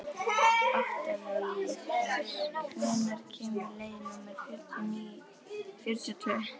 Oktavías, hvenær kemur leið númer fjörutíu og tvö?